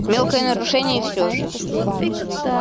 мелкое нарушение и всё же